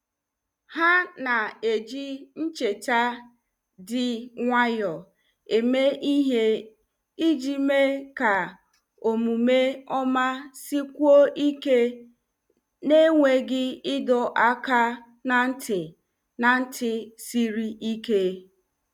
Ha na-eji ncheta dị nwayọọ eme ihe iji mee ka omume ọma sikwuo ike n'enweghị ịdọ aka ná ntị ná ntị siri ike.